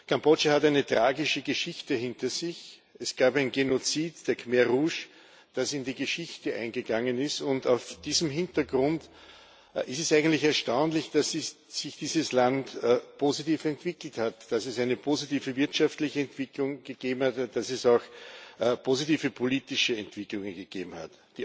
Kambodscha hat eine tragische Geschichte hinter sich Es gab ein Genozid der Roten Khmer, das in die Geschichte eingegangen ist, und vor diesem Hintergrund ist es eigentlich erstaunlich, dass sich dieses Land positiv entwickelt hat, dass es eine positive wirtschaftliche Entwicklung gegeben hat, es auch positive politische Entwicklungen gegeben hat.